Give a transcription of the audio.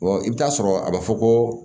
i bɛ taa sɔrɔ a bɛ fɔ ko